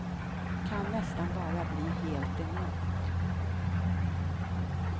Kan nästan bara bli helt enormt.